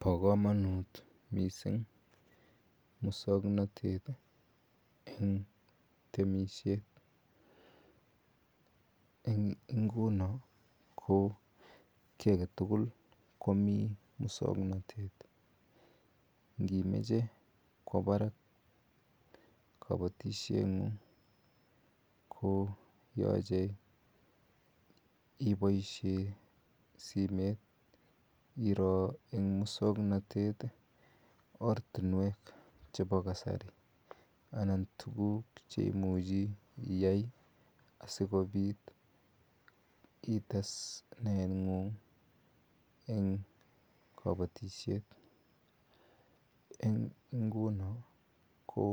Pa kamanut missing' muswoknotet eng' temishet. Eng' ingono ko ki age tuul komi muswoknotet. Ngimache kowa parak kapatisheng'ung' ko yache ipaishe simet iro eng' muswoknotet ortinwek chepo kasari anan tuguk che imuchi iyai asikopit ites naetng'ung' eng' kapatishet. Eng' inguni, ko